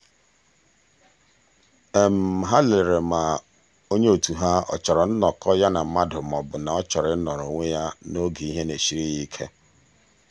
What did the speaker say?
ha lelere ma onye otu ha a chọrọ nnọkọ ya na mmadụ maọbụ ma ọ chọrọ ịnọrọ onwe ya n'oge ihe na-esiri ya ike.